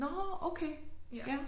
Nåh okay! Ja